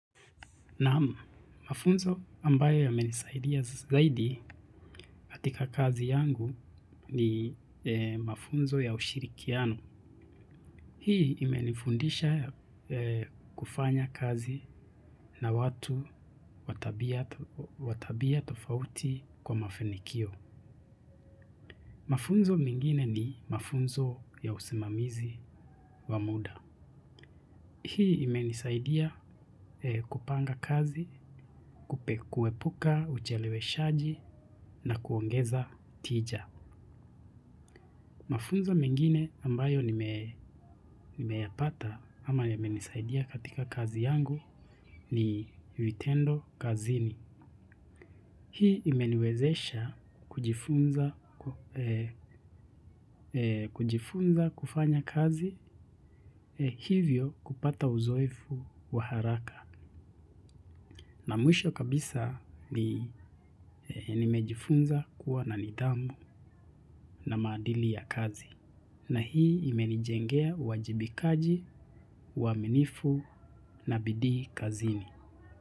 Naam mafunzo ambayo yamenisaidia zaidi katika kazi yangu ni mafunzo ya ushirikiano. Hii imenifundisha kufanya kazi na watu wa tabia tofauti kwa mafanikio. Mafunzo mengine ni mafunzo ya usimamizi wa muda. Hii imenisaidia kupanga kazi, kuepuka, ucheleweshaji na kuongeza tija. Mafunzo mengine ambayo nimeyapata ama yamenisaidia katika kazi yangu ni vitendo kazini. Hii imeniwezesha kujifunza kufanya kazi hivyo kupata uzoefu wa haraka. Na mwisho kabisa ni nimejifunza kuwa na nidhamu na maadili ya kazi. Na hii imenijengea uwajibikaji, uwaminifu na bidii kazini.